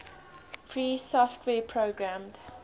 free software programmed